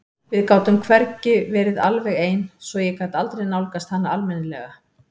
Við gátum hvergi verið alveg ein svo ég gat aldrei nálgast hana almennilega.